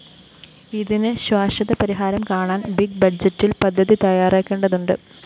ഇതിന് ശാശ്വത പരിഹാരം കാണാന്‍ ബിഗ് ബജറ്റില്‍ പദ്ധതി തയ്യാറാക്കേണ്ടതുണ്ട്